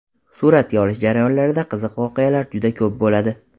Suratga olish jarayonlarida qiziq voqealar juda ko‘p bo‘ladi.